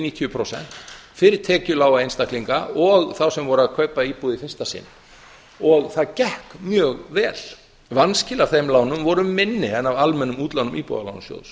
níutíu prósent fyrir tekjulága einstaklinga og þá sem voru að kaupa íbúð í fyrsta sinn og það gekk mjög vel vanskil af þeim lánum voru minni en af almennum útlánum íbúðalánasjóðs